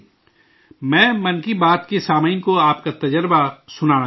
میں 'من کی بات' کے سامعین کو آپ کا تجربہ سنانا چاہتا ہوں